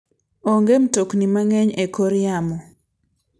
Onge mtokni mang'eny e kor yamo.